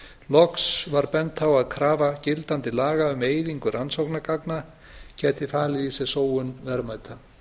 loks var bent á að krafa gildandi laga um eyðingu rannsóknargagna gæti falið í sér sóun verðmæta